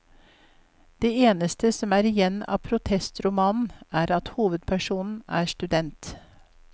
Det eneste som er igjen av protestromanen er at hovedpersonen er student.